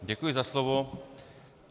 Děkuji za slovo.